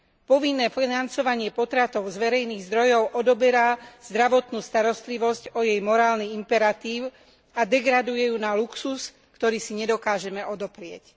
Povinné financovanie potratov z verejných zdrojov odoberá zdravotnú starostlivosť o jej morálny imperatív a degraduje ju na luxus, ktorý si nedokážeme odoprieť.